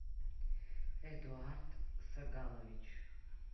эдуард сагалович